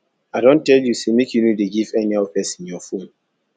i don tell you say make you no dey give anyhow person your phone